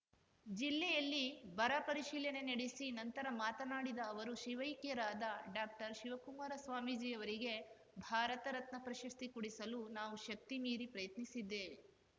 ಜಿಲ್ಲೆಯಲ್ಲಿ ಬರಪರಿಶೀಲನೆ ನಡೆಸಿ ನಂತರ ಮಾತನಾಡಿದ ಅವರು ಶಿವೈಕ್ಯರಾದ ಡಾಕ್ಟರ್ಶಿವಕುಮಾರ ಸ್ವಾಮೀಜಿ ಅವರಿಗೆ ಭಾರತ ರತ್ನ ಪ್ರಶಸ್ತಿ ಕೊಡಿಸಲು ನಾವು ಶಕ್ತಿಮೀರಿ ಪ್ರಯತ್ನಿಸಿದ್ದೇವೆ